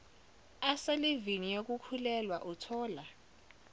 aselivini yokukhulelwa uthola